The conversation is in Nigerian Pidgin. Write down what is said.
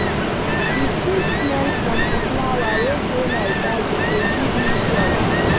Di sweet smell from di flower wey dey my garden dey give me joy.